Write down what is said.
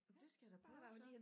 Det skal jeg da prøve så